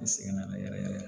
I sɛgɛn na yɛrɛ yɛrɛ yɛrɛ